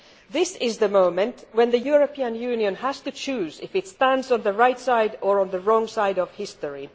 This is the moment when the European Union has to choose whether it stands on the right side or on the wrong side of history.